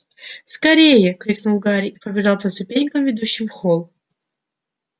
скорее крикнул гарри и побежал по ступенькам ведущим в холл